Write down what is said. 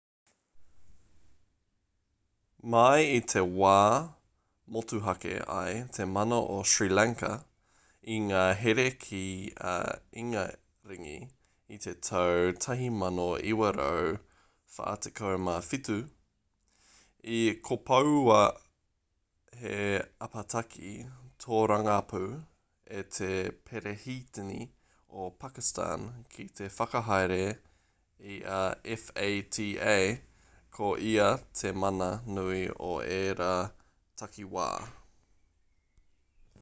mai i te wā i motuhake ai te mana o sri lanka i ngā here ki a ingaringi i te tau 1947 i kopoua he apataki tōrangapū e te perehitini o pakistan ki te whakahaere i a fata ko ia te mana nui o ērā takiwā